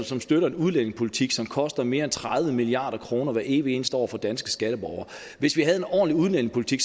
som støtter en udlændingepolitik som koster mere end tredive milliard kroner hver evig eneste år for danske skatteborgere hvis vi havde en ordentlig udlændingepolitik